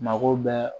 Mako bɛɛ